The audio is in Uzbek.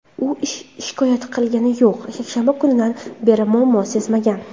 U shikoyat qilgani yo‘q, yakshanba kunidan beri muammo sezmagan.